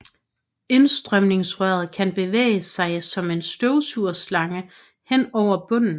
Indstrømningsrøret kan bevæge sig som en støvsugerslange hen over bunden